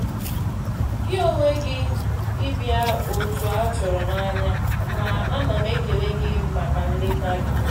Gị onwe gị ịbịa ótụ a tụrụ n'anya, ma ana m ekele gị maka nleta gị.